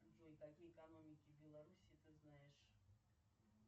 джой какие экономики в беларуси ты знаешь